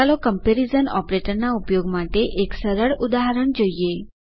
ચાલો ક્મ્પેરીઝન ઓપરેટરના ઉપયોગ માટે એક સરળ ઉદાહરણ જોઈએ